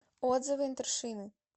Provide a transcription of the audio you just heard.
отзывы интершины